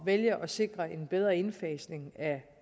vælge at sikre en bedre indfasning